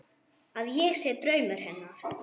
Að ég sé draumur hennar.